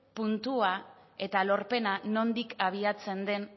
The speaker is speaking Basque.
puntua eta lorpena nondik abiatzen den